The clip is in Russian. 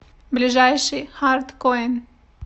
ближайший хард коин